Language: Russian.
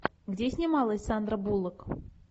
где снималась сандра буллок